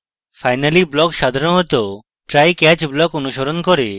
finally block সাধারণত trycatch block অনুসরণ করে